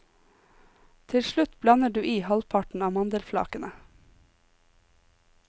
Til slutt blander du i halvparten av mandelflakene.